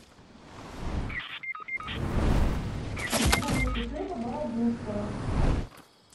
две булочки хлеба бородинского